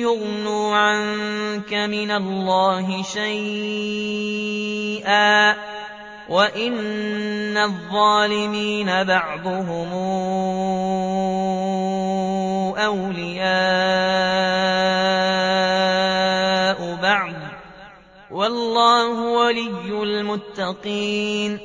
يُغْنُوا عَنكَ مِنَ اللَّهِ شَيْئًا ۚ وَإِنَّ الظَّالِمِينَ بَعْضُهُمْ أَوْلِيَاءُ بَعْضٍ ۖ وَاللَّهُ وَلِيُّ الْمُتَّقِينَ